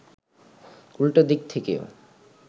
উল্টা দিক থেকেও